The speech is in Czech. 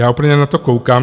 Já úplně na to koukám.